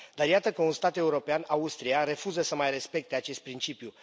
Dar iată că un stat european, Austria, refuză să mai respecte acest principiu.